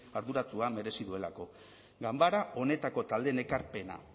arduratsua merezi duelako ganbera honetako taldeen ekarpena